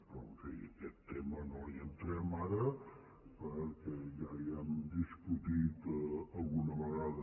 però en fi en aquest tema no hi entrem ara perquè ja l’hem discutit alguna vegada